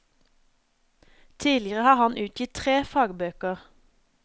Tidligere har han utgitt tre fagbøker.